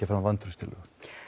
fram vantrauststillögu